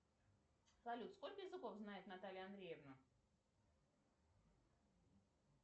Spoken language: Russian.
салют сколько языков знает наталья андреевна